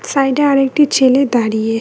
Side -এ আর একটি ছেলে দাঁড়িয়ে।